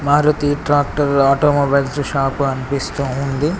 Maruti tractor automobiles shop అనిపిస్తూ ఉంది.